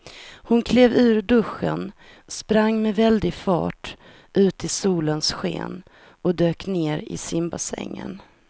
Hon klev ur duschen, sprang med väldig fart ut i solens sken och dök ner i simbassängen.